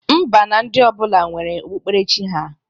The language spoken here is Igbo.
Mba na ndị ọbụla nwere okpukperechi ha.